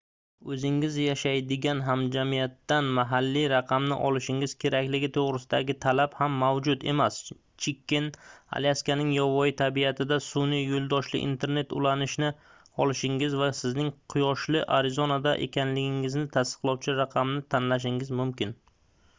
oʻzingiz yashaydigan hamjamiyatdan mahalliy raqamni olishingiz kerakligi toʻgʻrisidagi talab ham mavjud emas chiken alyaskaning yovvoyi tabiatida sunʼiy yoʻldoshli internet ulanishini olishingiz va sizning quyoshli arizonada ekanligingizni tasdiqlovchi raqamni tanlashingiz mumkin